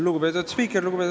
Lugupeetud spiiker!